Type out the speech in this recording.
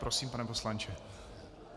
Prosím, pane poslanče.